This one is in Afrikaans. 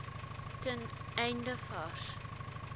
ten einde vars